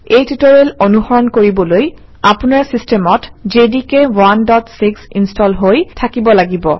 এই টিউটৰিয়েল অনুসৰণ কৰিবলৈ আপোনাৰ চিষ্টেমত জেডিকে 16 ইনষ্টল হৈ থাকিব লাগিব